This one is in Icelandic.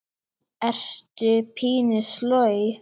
Ertu pínu sloj?